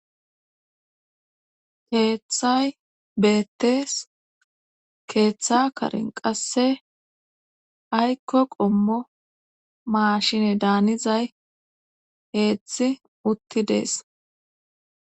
Keeththay beettees keeththa karen qasse aykko qommo maashine daanizay heeththi utti dees